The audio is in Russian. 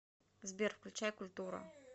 сбер включай культура